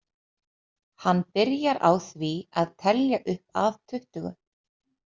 Hann byrjar á því að telja upp að tuttugu.